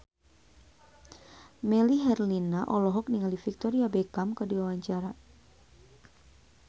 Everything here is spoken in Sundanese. Melly Herlina olohok ningali Victoria Beckham keur diwawancara